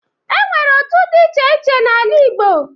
E nwere ndị otu dị iche iche n'ala Igbo.